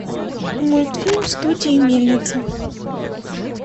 мультфильм студии мельница